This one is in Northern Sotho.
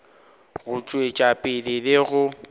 go tšwetša pele le go